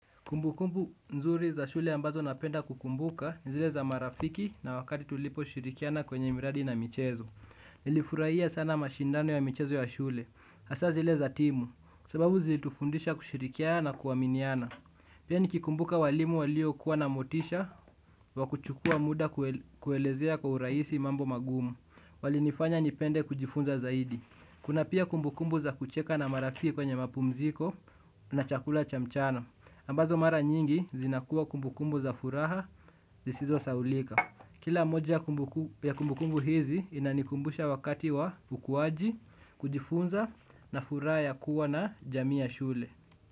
Kumbu kumbu nzuri za shule ambazo napenda kukumbuka ni zile za marafiki na wakati tulipo shirikiana kwenye miradi na michezo. Nilifurahia sana mashindano ya michezo ya shule. Asa zile za timu. Sababu zilitufundisha kushirikiana kuaminiana. Pia nikikumbuka walimu walio kuwa na motisha wakuchukua muda kuelezea kwa urahisi mambo magumu. Walinifanya nipende kujifunza zaidi. Kuna pia kumbukumbu za kucheka na marafiki kwenye mapumziko na chakula cha mchana. Ambazo mara nyingi zinakuwa kumbukumbu za furaha zisizo sahaulika. Kila moja ya kumbukumbu hizi inanikumbusha wakati wa ukuwaji kujifunza na furaha ya kuwa na jamii ya shule.